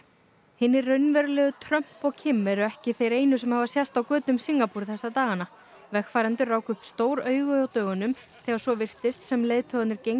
hinir raunverulegu Trump og Kim eru ekki þeir einu sem hafa sést á götum Singapúr þessa dagana vegfarendur ráku upp stór augu á dögunum þegar svo virtist sem leiðtogarnir gengju